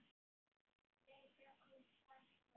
Lengra komst það ekki.